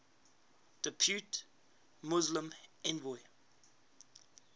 depute muslim envoy